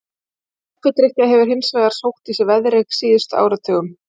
Kaffidrykkja hefur hins vegar sótt í sig veðrið á síðustu áratugum.